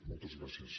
moltes gràcies